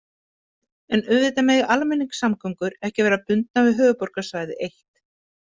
En auðvitað mega almenningssamgöngur ekki vera bundnar við höfuðborgarsvæðið eitt.